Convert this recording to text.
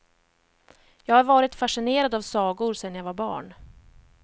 Jag har varit fascinerad av sagor sen jag var barn.